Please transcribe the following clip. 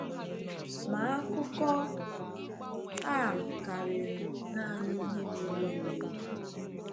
Ma, akụkọ a karịrị naanị ihe mere eme.